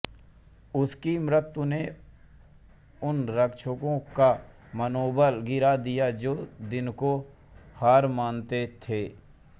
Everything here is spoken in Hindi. उनकी मृत्यु ने उन रक्षकों का मनोबल गिरा दिया जो दिन को हार मानते थे